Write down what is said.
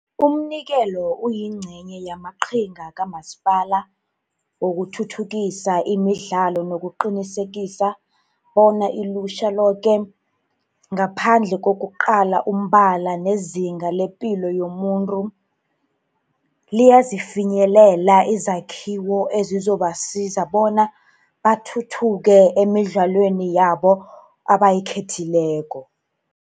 Umnikelo uyingcenye yamaqhinga kamasipala wokuthuthukisa imidlalo nokuqinisekisa bona ilutjha loke, ngaphandle kokuqala umbala nezinga lepilo yomuntu, liyazifinyelela izakhiwo ezizobasiza bona bathuthuke emidlalweni yabo abayikhethileko.